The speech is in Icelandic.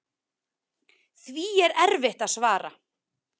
Því er erfitt að svara.